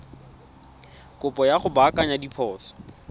kopo ya go baakanya diphoso